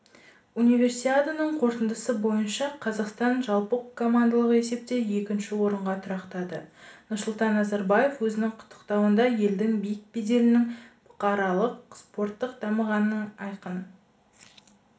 универсиаданың қорытындысы бойынша қазақстан жалпыкомандалық есепте екінші орынға тұрақтады нұрсұлтан назарбаев өзінің құттықтауында елдің биік беделінің бұқаралық спорттың дамығандығының айқын